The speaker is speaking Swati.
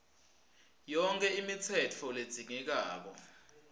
yonkhe imitsetfo ledzingekako